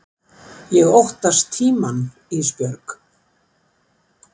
Ég óttast tímann Ísbjörg.